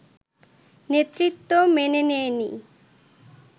নেতৃত্ব মেনে নেয়নি